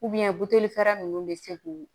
butulira nunnu be se k'u